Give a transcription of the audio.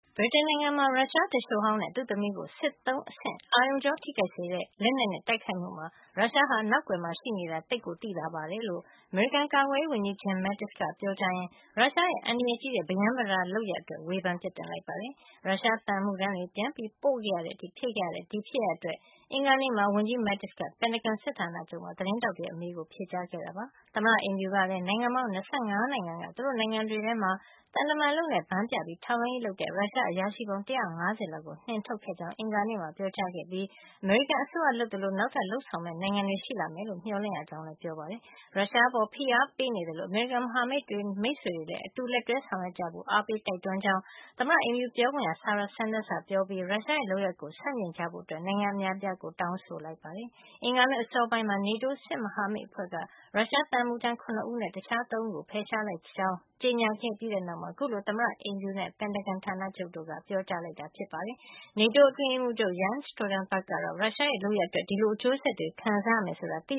ဗြိတိန်နိုင်ငံမှာ ရုရှားသူလျှိုဟောင်းနဲ့သူ့သမီးတို့ကို စစ်သုံးအဆင့် အာရုံကြောထိခိုက်စေတဲ့ လက်နက်နဲ့ တိုက်ခိုက်မှုမှာ ရုရှားက နောက်ကွယ်မှာ ရှိနေတာ သိပ်ကိုသိသာတယ်လို့ အမေရိကန်ကာကွယ်ရေး ဝန်ကြီး Jim Mattis က ပြောကြားရင်း ရုရှားရဲ့ အန္တရာယ်ကြီးတဲ့ ပရမ်းပတာလုပ်ရပ်အတွက် ဝေဖန်ပြစ်တင်လိုက်ပါတယ်။ ရုရှားသံအမှုထမ်းတွေ ပြန်ပို့တဲ့အထိဖြစ်ခဲ့ရတဲ့ ဒီဖြစ်ရပ်အတွက် အင်္ဂါနေ့မှာ ဝန်ကြီး Mattis က ပင်တာဂွန်စစ်ဌာနချုပ်မှာ သတင်းထောက် တွေရဲ့အမေးကို ဖြေကြားခဲ့တာပါ။ သမ္မတအိမ်ဖြူကလည်း နိုင်ငံပေါင်း ၂၅ နိုင်ငံက သူတို့နိုင်ငံတွေထဲမှာ သံတမန်အလုပ်နဲ့ ဘန်းပြပြီးထောက်လှန်းရေး လုပ်နေတဲ့ ရုရှား အရာရှိပေါင်း ၁၅၀ လောက်ကို နှင်ထုတ်ခဲ့ကြောင်း အင်္ဂါနေ့မှာ ပြောကြားခဲ့ပြီး အမေရိကန်အစိုးရလုပ်သလို နောက်ထပ်လုပ်ဆောင်မယ့် နိုင်ငံတွေ ရှိလာမယ်လို့ မျှော်လင့်ရကြောင်းလည်း ပြောပါတယ်။ ရုရှားအပေါ် ဖိအား ပေးနေသလို အမေရိကန်ရဲ့မဟာမိတ်တွေ မိတ်ဆွေတွေလည်း အတူလက်တွဲ ဆောင်ရွက်ကြဖို့ အားပေး တိုက်တွန်းနေကြောင်း သမ္မတအိမ်ဖြူပြောခွင့်ရ Sarah Sanders ကပြောကြားခဲ့ပြီး ရုရှားရဲ့လုပ်ရပ်ကို ဆန့်ကျင်ကြဖို့ နိုင်ငံအများအပြားကို တောင်းဆိုလိုက်ပါတယ်။ အင်္ဂါနေ့ အစောပိုင်းမှာ NATO စစ်မဟာမိတ်အဖွဲ့က ရုရှားသံအမှုထမ်း ၇ ဦးနဲ့ တခြား ၃ ဦးတို့ကို ဖယ်ရှားလိုက်ကြောင်း ကြေညာ ခဲ့ပြီးနောက်မှာ အခုလို သမ္မတအိမ်ဖြူနဲ့ ပင်တာဂွန်ဌာနချုပ်တို့က ပြောကြားလိုက်တာဖြစ်ပါတယ်။ NATO အတွင်းရေးမှုးချုပ် Jens Stoltenberg က ရုရှားရဲ့ လုပ်ရပ်အတွက် ဒီလို အကျိုးဆက်တွေ ခံစားရမယ် ဆိုတာသိ